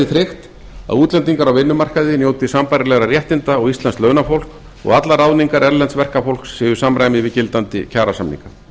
tryggt að útlendingar á vinnumarkaði njóti sambærilegra réttinda og íslenskt launafólk og allar ráðningar erlends verkafólks séu í samræmi við gildandi kjarasamninga